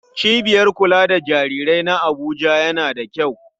Cibiyar kula da jarirai na Abuja yana da kyau.